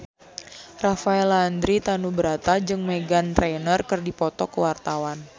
Rafael Landry Tanubrata jeung Meghan Trainor keur dipoto ku wartawan